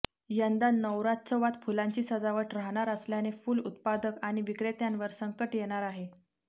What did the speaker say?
यंदा नवरात्रोत्सवात फुलांची सजावट राहणार नसल्याने फुल उत्पादक आणि विक्रेत्यांवर संकट येणार आहे